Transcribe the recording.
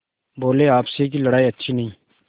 बोलेआपस की लड़ाई अच्छी नहीं